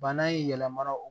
Bana in yɛlɛma donna o